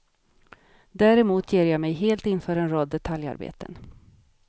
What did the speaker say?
Däremot ger jag mig helt inför en rad detaljarbeten.